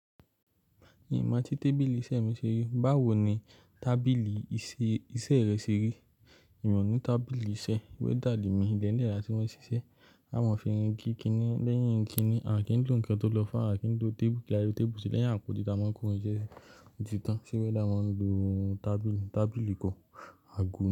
Ìmá ti tábìlì iṣẹ́ mi ṣeré, báwo ni tábìlì iṣẹ́ rẹ ṣeri? Èmi ò ní tábìlì iṣẹ́, welder le mi, ilẹ́ẹ̀'lẹ̀ là tí wọ́n ṣiṣẹ́. A maa fi irin ki kiní, lẹ́yìn kiní, à kí ń lò ǹkan tó lọ́fà, à kí ń lo téébù. Kí lafe téébù se, lẹ́yìn àpótí ta mọ kórin iṣẹ́ ti tán. Ṣé welder máa ń lo tábìlì, tábìlì ìkọ́ àgbo.